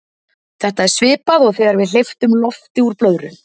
þetta er svipað og þegar við hleypum lofti úr blöðru